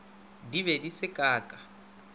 di be di se kaka